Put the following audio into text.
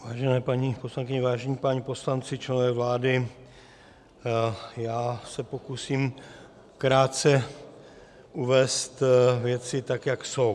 Vážené paní poslankyně, vážení páni poslanci, členové vlády, Já se pokusím krátce uvést věci, tak jak jsou.